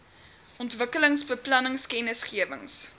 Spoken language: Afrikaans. ontwikkelingsbeplanningkennisgewings